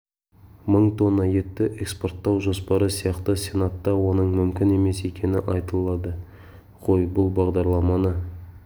мың тонна етті экспорттау жоспары сияқты сенатта оның мүмкін емес екені айтылды ғой бұл бағдарламаны